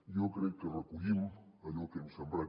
jo crec que recollim allò que hem sembrat